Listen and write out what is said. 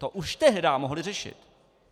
To už tehdy mohli řešit.